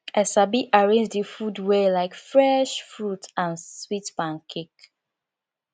i sabi arrange the food well like fresh fruit and sweet pancake